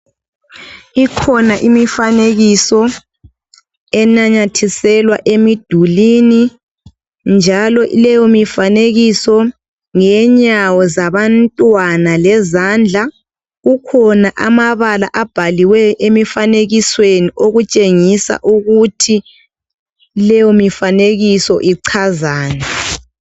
Ikhona imifanekiso enanyathiselwa emidulwini, njalo leyomifanekiso ngeyenyawo zabantwana lezandla. Akhona amabala abhaliweyo emifanekisweni. Atshengisa ukuthi leyomifanekiso ichazani.